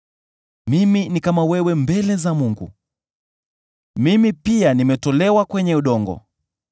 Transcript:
Mimi ni kama wewe mbele za Mungu; mimi pia nimetolewa kwenye udongo.